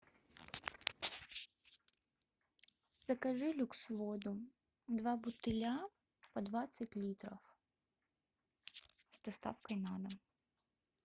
закажи люкс воду два бутыля по двадцать литров с доставкой на дом